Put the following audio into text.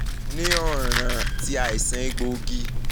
ni ọran ti aisan egboogi